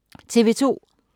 TV 2